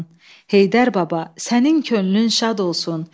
Heydər baba, sənin könlün şad olsun.